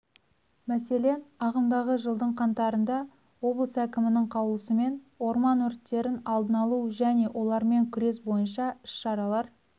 мәселен ағымдағы жылдың қаңтарында облыс әкімінің қаулысымен орман өрттерін алдын алу және олармен күрес бойынша іс-шаралар